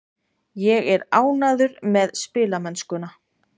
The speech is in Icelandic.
Ég er ánægður með spilamennskuna.